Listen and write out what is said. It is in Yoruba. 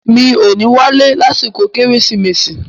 “Mi ò ní wálé lásìkò “kérésìmesì”.